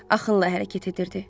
Axınla hərəkət edirdi.